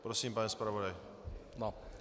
Prosím, pane zpravodaji.